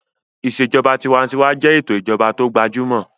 Ìṣèjọba tinwatinwa jẹ́ ètò ìjọba tó gbajúmọ̀